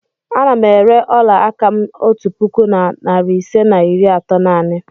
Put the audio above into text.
Ana m ere ọla aka m otu puku na narị ise na iri atọ naanị.